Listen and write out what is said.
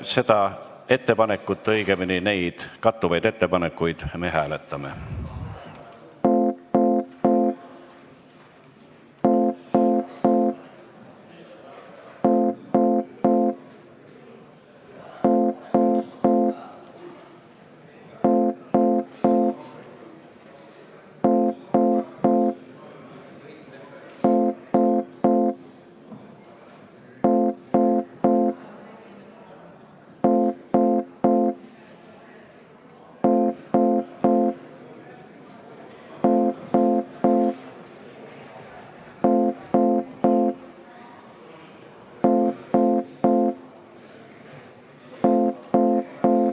Seda ettepanekut, õigemini neid kattuvaid ettepanekuid me hääletame.